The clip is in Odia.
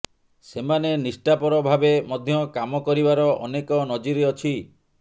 ସେମାନେ ନିଷ୍ଠାପର ଭାବେ ମଧ୍ୟ କାମ କରିବାର ଅନେକ ନଜିର ଅଚ୍ଥି